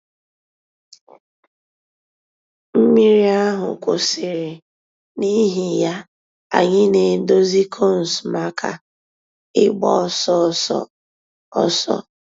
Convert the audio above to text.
Mmírí àhụ̀ kwụsìrì, n'ìhì yà, ànyị̀ nà-èdòzì cones mǎká ị̀gba òsọ̀ òsọ̀ òsọ̀.